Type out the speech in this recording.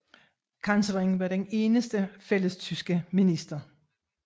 Kansleren var den eneste fællestyske minister